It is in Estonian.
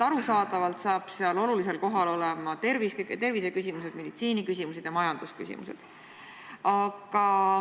Arusaadavalt on olulisel kohal terviseküsimused, meditsiiniküsimused ja majandusküsimused.